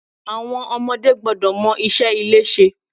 Àwọn ọmọdé gbọ́dọ̀ mọ iṣẹ́ ilé ṣe.